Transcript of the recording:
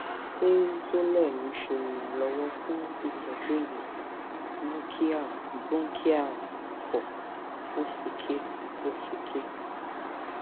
ṣé xolair ńse iranlowo fun itọ́ju èèyàn mú kí àrùn bronchial ikọ ósúké ósúké